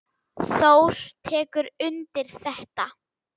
Þór tekur undir þetta.